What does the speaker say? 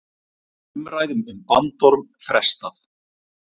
Umræðum um bandorm frestað